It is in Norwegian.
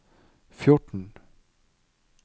fjorten